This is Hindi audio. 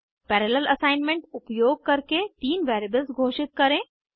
पैरालेल असाइनमेंट उपयोग करके तीन वेरिएबल्स घोषित करें